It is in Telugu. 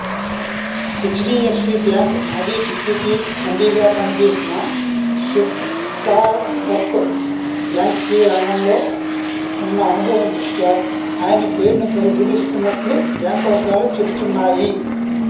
హెచ్డిఎఫ్సి బ్యాంకు మాజీ డిప్యూటి ఎండిగాపనిచేసిన సుక్తాంకర్కు బ్యాంకింగ్ రంగంలో ఉన్న అనుభవం దృష్ట్యా ఆయన పేరునుపరిశీలిస్తున్నట్లు బ్యాంకువర్గాలు చెపుతున్నాయి